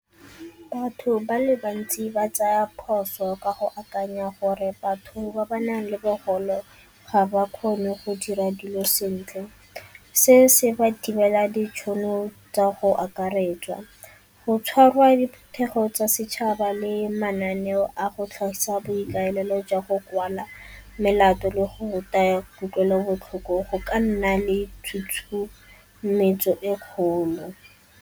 Batho ba le bantsi ba tsaya phoso ka go akanya gore batho ba ba nang le bogole ga ba kgone go dira dilo sentle. Se se ba thibela ditšhono tsa go akaretsa, go tshwarwa diphuthego tsa setšhaba le mananeo a go tlhagisa boikaelelo jwa go kwala melato le go ruta kutlwelobotlhoko go ka nna le tshutshumetso e kgolo.